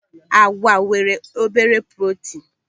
Àgwà nwere obere protinu.